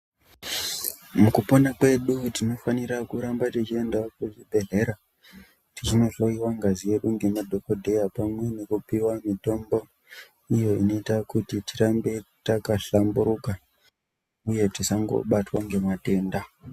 Mukupona kwedu tinofanira kuramba techiendawo kuzvibhedhlera, teinohloiwa ngazi yedu ngemadhokodheya, pamwe nekupiwa mitombo, iyo inoita kuti, tirambe takahlamburuka, uye tisangobatwa ngematenda.